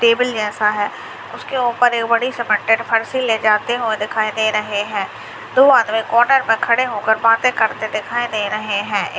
Table जैसा है उसके ऊपर एक बड़ी सीमेंटेड फारसी ले जाते दिखाई दे रहे हैं दो आदमी कॉर्नर पर खड़े हुए बातें करते दिखाई दे रहे हैं।